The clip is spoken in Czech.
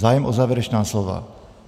Zájem o závěrečná slova?